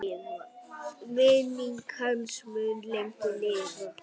Minning hans mun lengi lifa.